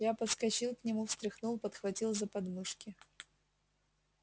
я подскочил к нему встряхнул подхватил за подмышки